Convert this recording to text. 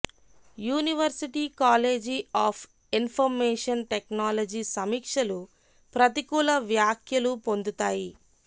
university college of information technology సమీక్షలు ప్రతికూల వ్యాఖ్యలు పొందుతాయి